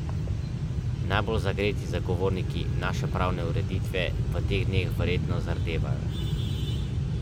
Ko so bili čehi zbrani pred štabom, so se postavili v cikcakasto vrsto.